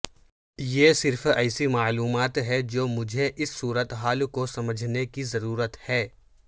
یہ صرف ایسی معلومات ہے جو مجھے اس صورتحال کو سمجھنے کی ضرورت ہے